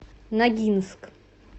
ногинск